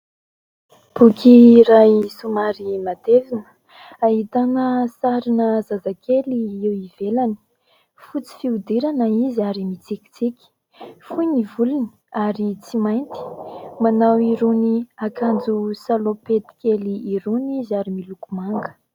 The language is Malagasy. Boky iray somary matevina. Ahitana sarina zaza kely eo ivelany. Fotsy fihodirana izy ary mitsikitsiky. Fohy ny volony ary tsy mainty. Manao irony akanjo "salopette" kely irony izy ary miloko manga.